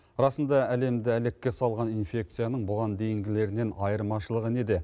расында әлемді әлекке салған инфекцияның бұған дейінгілерінен айырмашылығы неде